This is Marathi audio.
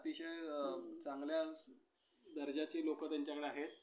अतिशय चांगल्या दर्जाचे लोकं त्यांच्याकडे आहेत.